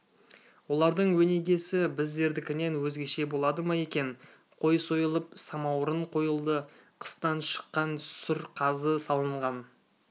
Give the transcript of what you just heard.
олардың өнегесі біздердікінен өзгеше болады ма екен қой сойылып самауырын қойылды қыстан шыққан сүр қазы салынған